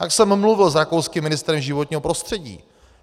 Tak jsem mluvil s rakouským ministrem životního prostředí.